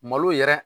Malo yɛrɛ